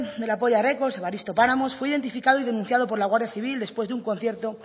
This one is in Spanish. de la polla records evaristo páramos fue identificado y denunciado por la guardia civil después de un concierto